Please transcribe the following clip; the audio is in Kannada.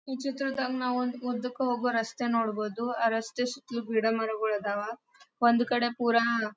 ಈ ಚಿತ್ರದಲ್ಲಿ ನಾವು ಒಂದು ಉದ್ದಕ್ಕೆ ಹೋಗುವ ರಸ್ತೆ ನೋಡಬಹುದು ಆ ರಸ್ತೆ ಸುತ್ತಲು ಗಿಡ ಮರಗುಳ ಅದವ್ ಒಂದ್ ಕಡೆ ಪುರಾ --